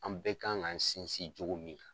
An bɛɛ kan k'an sinsin jogo min